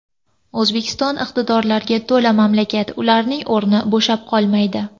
O‘zbekiston iqtidorlarga to‘la mamlakat, ularning o‘rni bo‘shab qolmaydi.